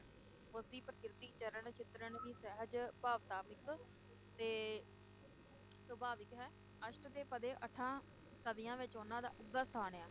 ਉਸਦੀ ਪ੍ਰਕਿਰਤੀ ਚਰਣ ਚਿਤਰਣ ਵੀ ਸਹਿਜ, ਭਾਵਾਤਮਿਕ ਤੇ ਸੁਭਾਵਿਕ ਹੈ ਅਸ਼ਠ ਪਦੇ ਅੱਠਾਂ ਕਵੀਆਂ ਵਿਚ ਉਨ੍ਹਾ ਦਾ ਉਘਾ ਸਥਾਨ ਹੈ।